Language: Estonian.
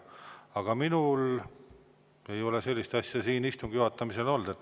Aga minul ei ole sellist asja siin istungi juhatamisel olnud.